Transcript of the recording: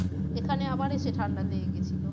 এখানে আবার এসে ঠাণ্ডা লেগে গেছিলো।